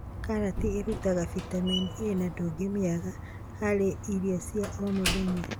Karati ĩrutaga vitamini A na ndũngĩmĩaga harĩ irio cia o mũthenya.